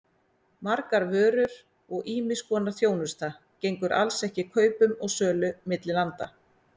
Margar vörur og ýmiss konar þjónusta gengur alls ekki kaupum og sölu milli landa.